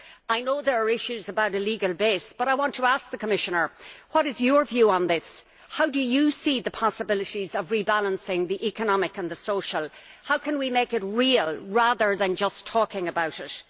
I know there are issues about a legal base, but I want to ask the Commissioner What is your view on this, how do you see the possibilities of rebalancing the economic and the social, how can we make it real rather than just talking about it?